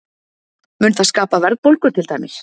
Mun það skapa verðbólgu til dæmis?